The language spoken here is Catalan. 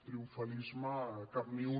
triomfalisme cap ni un